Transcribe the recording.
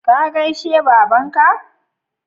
Ka gaishe baban ka?